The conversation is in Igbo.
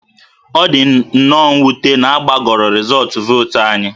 Ọ dị nnọọ mwute na a gbagọrọ rịzọọtụ vootu anyị